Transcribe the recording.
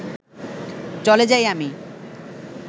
চলে যাই আমি